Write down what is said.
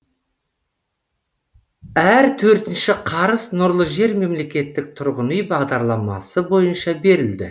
әр төртінші қарыз нұрлы жер мемлекеттік тұрғын үй бағдарламасы бойынша берілді